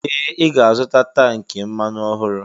Ee! Ị ga-azụta tankị mmanụ ọhụrụ.